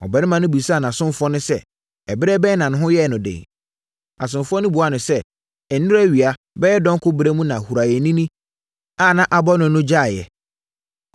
Ɔbarima no bisaa nʼasomfoɔ no sɛ, “Ɛberɛ bɛn na ne ho yɛɛ no den?” Asomfoɔ no buaa no sɛ, “Nnora awia bɛyɛ dɔnko berɛ mu na huraeɛnini a na abɔ no no gyaeeɛ.”